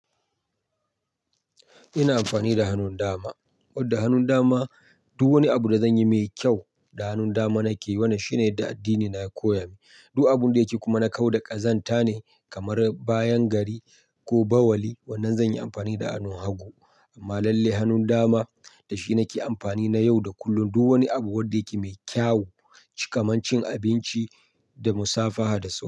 Ina amfani da hannun dama, wadda hannun dama duk wani abu da zanyi mai kyau da hannun dama nake yi. Wannan shine yadda addini na ya koya min. Duk abun da yake kuma na kau da ƙazanta ne kamar bayan gari ko bauli. Wannan zan yi amfani da hannun hagu. Amma lallai hannun dama da shi nake amfani na yau da kullum. Duk wani abu wadda yake mai kyawu, kaman cin abinci da musafaha da su.